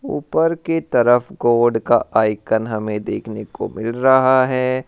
ऊपर की तरफ गोड का आइकन हमे देखने को मिल रहा है।